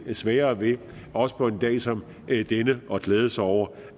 lidt sværere ved også på en dag som denne at glæde sig over